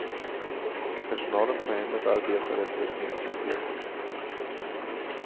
Personalen på hemmet arbetar efter ett nytt system.